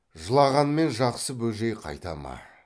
жылағанмен жақсы бөжей қайта ма